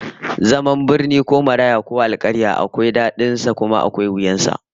Zaman birni ko maraya ko alkarya akwai dadin sa kuma akwai wuyan sa